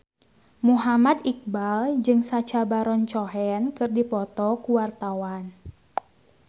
Muhammad Iqbal jeung Sacha Baron Cohen keur dipoto ku wartawan